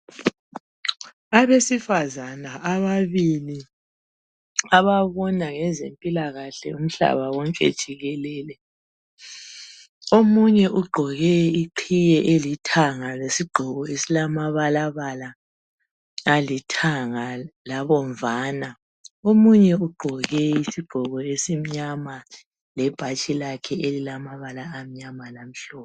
Abesifazana ababili ababona ngezempilakahle umhlaba konke jikelele, omunye uqoke iqhiwe elithanga lesigqoko esolama balabala alithanga labomvana omunye ugqoke isigqoko esimnyama lebhatshi elilamabala amnyama lamhlophe.